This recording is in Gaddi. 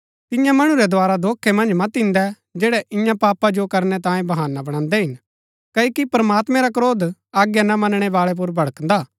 तिन्या मणु रै द्धारा धोखै मन्ज मत इन्दै जैड़ै इन्या पापा जो करनै तांये बहाना बणान्दै हिन क्ओकि प्रमात्मैं रा क्रोध आज्ञा ना मनणै बाळै पुर भड़कदा हा